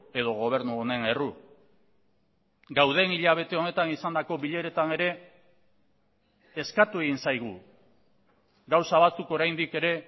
edo gobernu honen erru gauden hilabete honetan izandako bileretan ere eskatu egin zaigu gauza batzuk oraindik ere